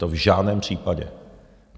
To v žádném případě.